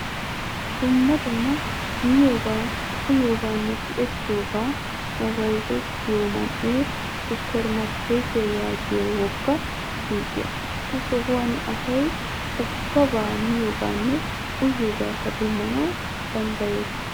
Dumma dumma miyoba, uyiyobanne tiyettiyobay nbayzzetiyo man'e supper markketiyaa yaagiyo woggaa suuqiyaa. Ha sohuwaan asay ubbaba miyobanne uyiyobakka demmanawu danddayees.